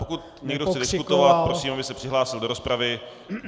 Pokud někdo chce diskutovat, prosím, aby se přihlásil do rozpravy.